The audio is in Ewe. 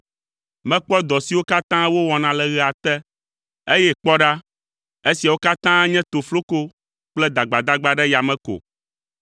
Mekpɔ dɔ siwo katã wowɔna le ɣea te eye kpɔ ɖa, esiawo katã nye tofloko kple dagbadagba ɖe yame ko.